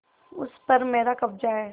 उस पर मेरा कब्जा है